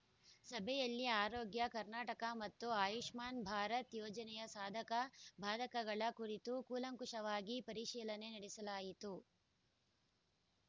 ಸಭೆಯಲ್ಲಿ ಆರೋಗ್ಯ ಕರ್ನಾಟಕ ಮತ್ತು ಆಯುಷ್ಮಾನ್‌ ಭಾರತ್‌ ಯೋಜನೆಯ ಸಾಧಕಬಾಧಕಗಳ ಕುರಿತು ಕೂಲಂಕಷವಾಗಿ ಪರಿಶೀಲನೆ ನಡೆಸಲಾಯಿತು